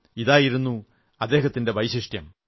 ഇതായിരുന്നു അദ്ദേഹത്തിന്റെ വൈശിഷ്ട്യം